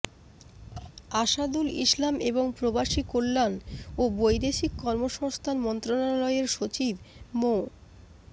আসাদুল ইসলাম এবং প্রবাসী কল্যাণ ও বৈদেশিক কর্মসংস্থান মন্ত্রণালয়ের সচিব মো